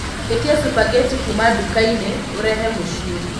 ĩtĩa spaghetti kuũma dukaini urehe mũcĩĩ